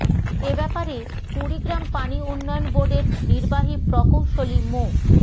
এ ব্যাপারে কুড়িগ্রাম পানি উন্নয়ন বোর্ডের নির্বাহী প্রকৌশলী মো